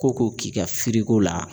Ko ko k'i ka la